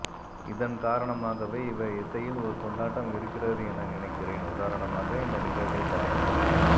இதன் காரணமாகவே இவர் இசையில் ஒரு கொண்டாட்டம் இருக்கிறது என நினைக்கிறேன் உதாரணமாக இந்த நிகழ்வை பாருங்கள்